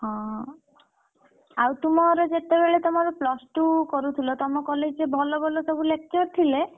ହଁ ଆଉ ତୁମର ଯେତେବେଳେ ତମର plus two କରୁଥିଲ ତମ college ରେ ଭଲ ଭଲ ସବୁ lecture ଥିଲେ?